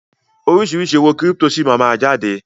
Oríṣiríṣi owó kírípítò síí máa ma jáde.